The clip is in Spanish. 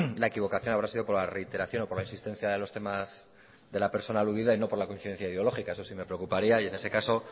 la equivocación habrá sido por la reiteración o por la insistencia de los temas de la de la persona aludida y no por la coincidencia ideológica eso sí me preocuparía y en ese caso